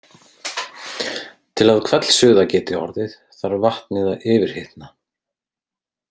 Til að hvellsuða geti orðið þarf vatnið að yfirhitna.